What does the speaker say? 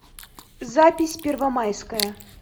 запись первомайское